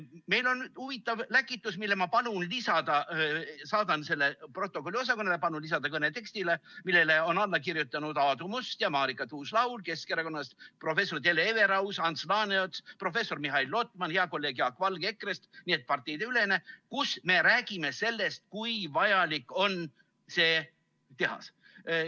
Meil on huvitav läkitus , millele on alla kirjutanud Aadu Must ja Marika Tuus-Laul Keskerakonnast, professor Hele Everaus, Ants Laaneots, professor Mihhail Lotman, hea kolleeg Jaak Valge EKRE‑st, nii et see on parteideülene, kus me räägime sellest, kui vajalik on see tehas.